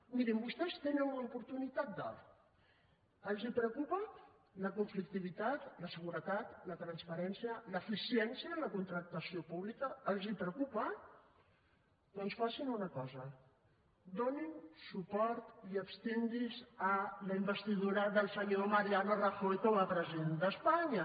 mirin vostès tenen una oportunitat d’or els preocupa la conflictivitat la seguretat la transparència l’eficiència en la contractació pública els preocupa doncs facin una cosa donin suport i abstinguinse a la investidura del senyor mariano rajoy com a president d’espanya